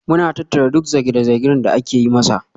Muna tattara duk zarge-zargen da ake yi masa.